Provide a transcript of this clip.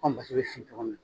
Aw basi bɛ sigi cogo mina.